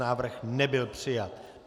Návrh nebyl přijat.